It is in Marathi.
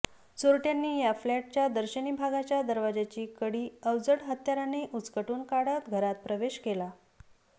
चोरट्यांनी या फ्लॅटच्या दर्शनी भागाच्या दरवाजाची कडी अवजड हत्याराने उचकटून काढत घरात प्रवेश केला